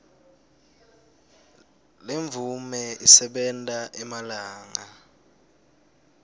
lemvume isebenta emalanga